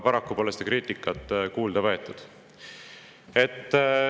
Paraku pole seda kriitikat kuulda võetud.